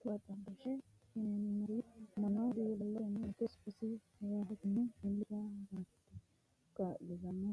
Tuqu xaadooshe yineemori mannu dilalotenni mitte sokasi rahotenni iilishirate kaa'litano